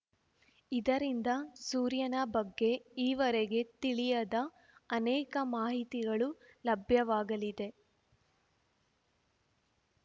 ಇದರಿಂದ ಸೂರ್ಯನ ಬಗ್ಗೆ ಈವರೆಗೆ ತಿಳಿಯದ ಅನೇಕ ಮಾಹಿತಿಗಳು ಲಭ್ಯವಾಗಲಿದೆ